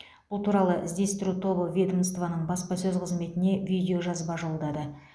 бұл туралы іздестіру тобы ведомствоның баспасөз қызметіне видеожазба жолдады